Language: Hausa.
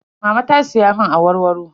Mama ta siya mun awarwaro.